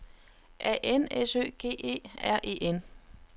A N S Ø G E R E N